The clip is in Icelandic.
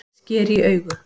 Sker í augu